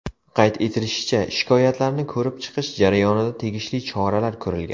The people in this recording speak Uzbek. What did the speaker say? Qayd etilishicha, shikoyatlarni ko‘rib chiqish jarayonida tegishli choralar ko‘rilgan.